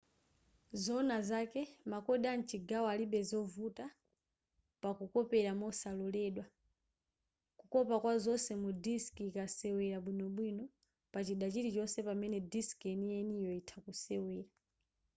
zoona zake ma code amchigawo alibe zovuta pakukopera mosaloledwa kukopa kwazonse mu disk ikasewera bwinobwino pachida chilichonse pamene disk yeniyeniyo itha kusewera